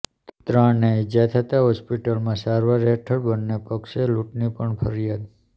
ત્રણને ઈજા થતા હોસ્પિટલમાં સારવાર હેઠળ ઃ બન્ને પક્ષે લૂંટની પણ ફરિયાદ